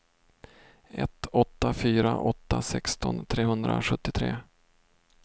ett åtta fyra åtta sexton trehundrasjuttiotre